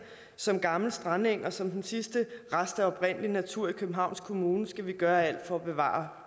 som gammel strandeng og som den sidste rest af oprindelig natur i københavns kommune skal vi gøre alt for at bevare